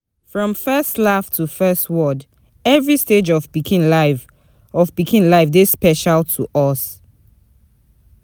From first laugh to first word, every stage of pikin life of pikin life dey special for us.